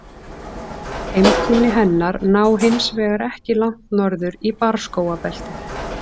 Heimkynni hennar ná hins vegar ekki langt norður í barrskógabeltið.